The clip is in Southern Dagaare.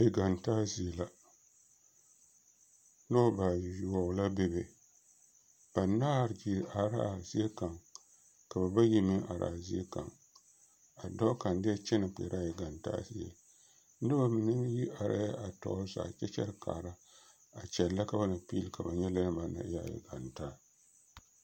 Egantaa zie la noba bayoɔbo la bebe banaare gyile are la a zie kaŋa ka ba bayi meŋ are a zie kaŋ a dɔɔ kaŋ diɛ kyɛne kpɛre la a egantaa zie noba mine meŋ e are a tɔɔre zaa kyɛ kyɛre kaara kyɛle ka ba na piili ka ba nyɛ lɛ banaŋ na e a egantaa.